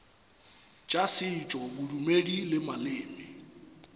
tša setšo bodumedi le maleme